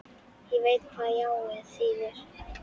Ég veit hvað jáið þýðir.